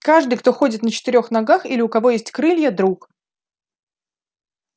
каждый кто ходит на четырёх ногах или у кого есть крылья друг